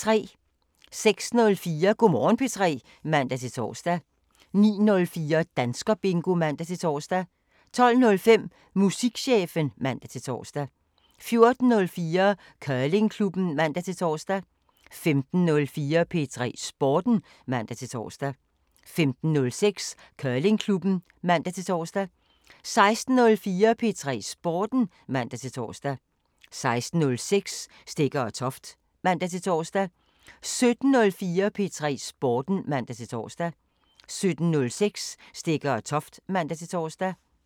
06:04: Go' Morgen P3 (man-tor) 09:04: Danskerbingo (man-tor) 12:05: Musikchefen (man-tor) 14:04: Curlingklubben (man-tor) 15:04: P3 Sporten (man-tor) 15:06: Curlingklubben (man-tor) 16:04: P3 Sporten (man-tor) 16:06: Stegger & Toft (man-tor) 17:04: P3 Sporten (man-tor) 17:06: Stegger & Toft (man-tor)